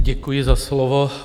Děkuji za slovo.